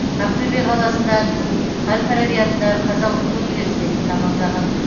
ақтөбе қаласында туып әл фараби атындағы қазақ ұлттық университетін тәмамдаған